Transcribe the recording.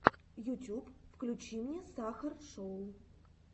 ютьюб включи мне сахар шоу